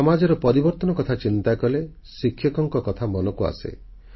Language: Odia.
ସେହିଭଳି ସମାଜର ପରିବର୍ତ୍ତନ କଥା ଚିନ୍ତା କଲେ ଶିକ୍ଷକଙ୍କ କଥା ମନକୁ ଆସେ